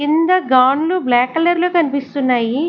కింద gun black colour లో కనిపిస్తున్నాయి.